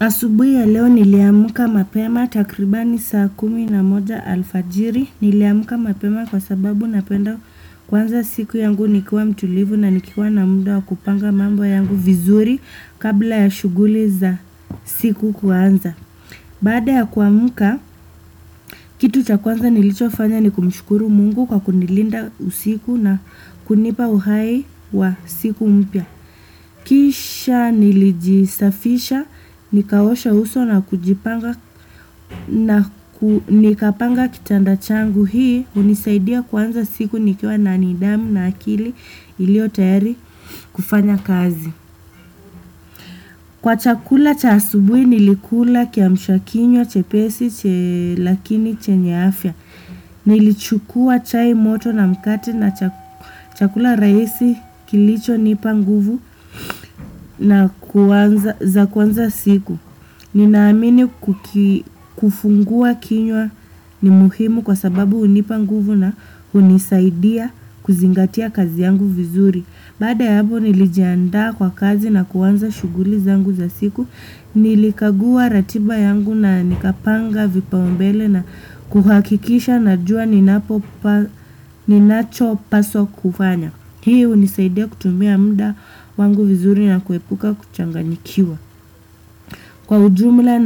Asubuhi ya leo niliamka mapema takribani saa kumi na moja alfajiri. Niliamka mapema kwa sababu napenda kuanza siku yangu nikiwa mtulivu na nikiwa na muda wa kupanga mambo yangu vizuri kabla ya shughuli za siku kuanza. Baada ya kuamka, kitu cha kwanza nilicho fanya ni kumshukuru Mungu kwa kunilinda usiku na kunipa uhai wa siku mpya. Kisha nilijisafisha, nikaosha uso na kujipanga na nikapanga kitanda changu hii, hunisaidia kuanza siku nikiwa na nidhamu na akili ilio tayari kufanya kazi. Kwa chakula cha asubuhi nilikula kiamshakinywa, chepesi, lakini chenye afya. Nilichukua chai moto na mkate na chakula rahisi kilicho nipa nguvu na kuanza siku. Ninaamini kufungua kinywa ni muhimu kwa sababu hunipa nguvu na hunisaidia kuzingatia kazi yangu vizuri. Baada ya hapo nilijiandaa kwa kazi na kuanza shughuli zangu za siku, nilikagua ratiba yangu na nikapanga vipaumbele na kuhakikisha najua ninacho paswa kufanya. Hii hunisaidia kutumia muda wangu vizuri na kuepuka kuchanganyikiwa. Kwa ujumla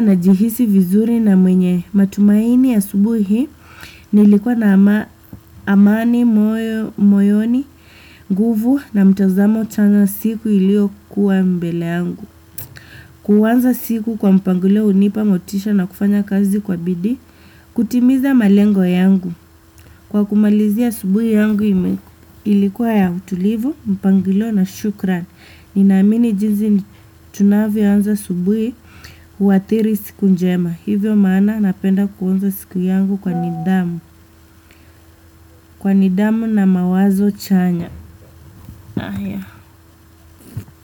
najihisi vizuri na mwenye matumaini asubuhi, nilikuwa na amani, moyoni, nguvu na mtazamo chanya siku ilio kuwa mbele yangu. Kuanza siku kwa mpangilio hunipa motisha na kufanya kazi kwa bidii, kutimiza malengo yangu. Kwa kumalizia asubuhi yangu ilikuwa ya utulivu, mpangilio na shukran. Ninaamini jinzi tunavyo anza asubuhi huathiri siku njema. Hivyo maana napenda kuanza siku yangu kwa nidhamu. Kwa nidamu na mawazo chanya.